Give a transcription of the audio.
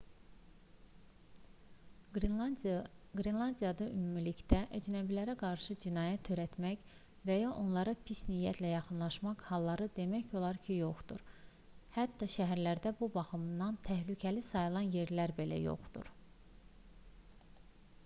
qrenlandiyada ümumilikdə əcnəbilərə qarşı cinayət törətmək və ya onlara pis niyyətlə yaxınlaşmaq halları demək olar ki yoxdur hətta şəhərlərdə bu baxımdan təhlükəli sayılan yerlər belə yoxdur